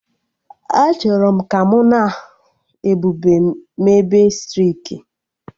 Achọrọ m ka mụ na Ebube mebe striki